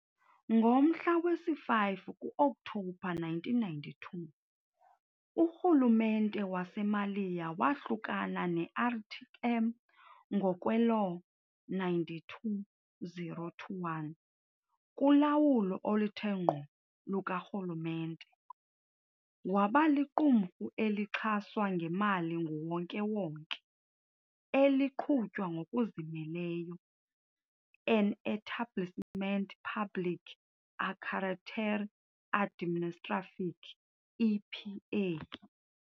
Ngomhla wesi-5 ku-Okthobha 1992, urhulumente waseMaliya wahlukana ne-RTM ngokwe-"Law 92-021", kulawulo oluthe ngqo lukarhulumente, waba liqumrhu elixhaswa ngemali nguwonke-wonke, eliqhutywa ngokuzimeleyo, an "Établissement Public à Caractère Administratif, EPA".